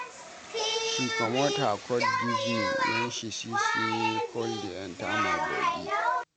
She comot her coat give me wen she see sey cold dey enta my bodi.